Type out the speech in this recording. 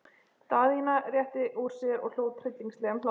Daðína rétti úr sér og hló tryllingslegum hlátri.